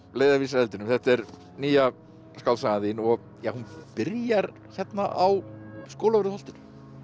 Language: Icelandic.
leiðarvísir að eldinum þetta er nýja skáldsagan þín og hún byrjar hérna á Skólavörðuholtinu